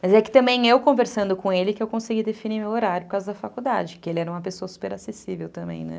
Mas é que também eu conversando com ele que eu consegui definir meu horário por causa da faculdade, que ele era uma pessoa super acessível também, né?